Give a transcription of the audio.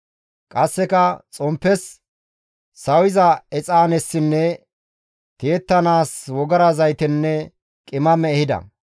Qasseka xomppes, sawiza exaanessinne tiyettanaas wogara zaytenne qimame ehida.